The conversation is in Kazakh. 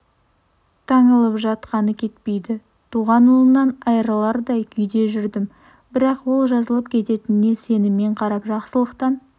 таңылып жатқаны кетпейді туған ұлымнан айырылардай күйде жүрдім бірақ ол жазылып кететініне сеніммен қарап жақсылықтан